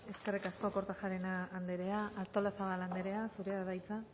eskerrik asko kortajarena andrea artolazabal andrea zurea da hitza